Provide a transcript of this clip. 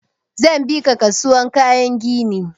Zan bi ka kasuwan kayan gini.